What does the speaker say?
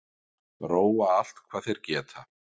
Róa allt hvað þeir geta